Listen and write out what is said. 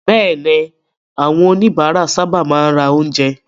Bẹ́ẹ̀ni, àwọn oníbàárà sábà máa ń ra oúnjẹ.